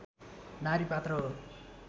नारी पात्र हो